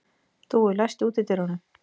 Dúi, læstu útidyrunum.